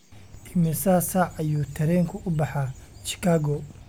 imisa saac ayuu tareenku u baxaa chicago